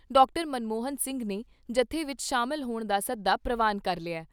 ਮਨਮੋਹਨ ਸਿੰਘ ਨੇ ਜੱਥੇ ਵਿਚ ਸ਼ਾਮਲ ਹੋਣ ਦਾ ਸੱਦਾ ਪ੍ਰਵਾਨ ਕਰ ਲਿਆ।